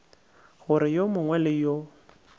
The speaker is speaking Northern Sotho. gore yo mongwe le yo